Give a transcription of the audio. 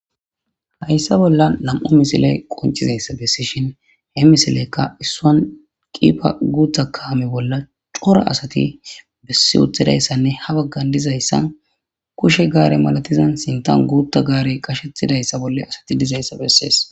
hayssa bolla nam7u misile qoncizayssa bessi shin he misileykka issuan qipa guuta kaame bolla cora asati bessi uthidayssanne ha baggan dizayssan kushe gaare malatizan sintan guutta gaare qashethidayssa bolle asati dizayssa bessees